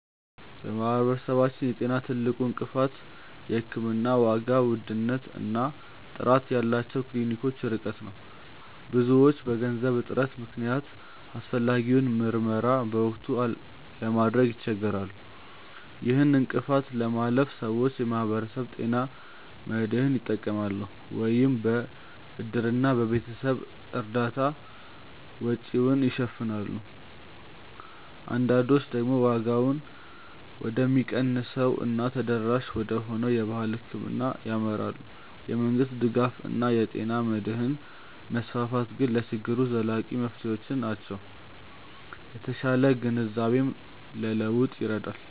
በማህበረሰባችን የጤና ትልቁ እንቅፋት የሕክምና ዋጋ ውድነት እና ጥራት ያላቸው ክሊኒኮች ርቀት ነው። ብዙዎች በገንዘብ እጥረት ምክንያት አስፈላጊውን ምርመራ በወቅቱ ለማድረግ ይቸገራሉ። ይህን እንቅፋት ለማለፍ ሰዎች የማህበረሰብ ጤና መድህን ይጠቀማሉ፤ ወይም በእድርና በቤተሰብ እርዳታ ወጪውን ይሸፍናሉ። አንዳንዶች ደግሞ ዋጋው ወደሚቀንሰው እና ተደራሽ ወደሆነው የባህል ሕክምና ያመራሉ። የመንግስት ድጋፍ እና የጤና መድህን መስፋፋት ግን ለችግሩ ዘላቂ መፍትሄዎች ናቸው። የተሻለ ግንዛቤም ለለውጥ ይረዳል።